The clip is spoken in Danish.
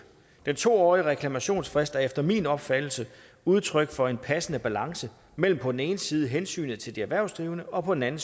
den to årige reklamationsfrist er efter min opfattelse udtryk for en passende balance mellem på den ene side hensynet til de erhvervsdrivende og på den anden